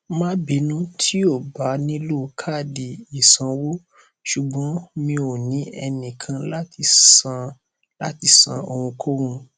má bínú tí o bá nílò káàdì ìsanwó ṣùgbọn mi ò ní ẹnìkan láti san láti san ohunkóhun